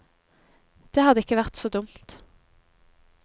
Det hadde ikke vært så dumt.